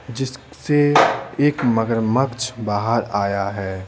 जिससे एक मगरमछ बाहर आया है।